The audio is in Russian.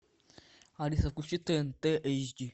алиса включи тнт эйч ди